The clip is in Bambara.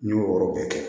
N y'o wɔɔrɔ bɛɛ kɛ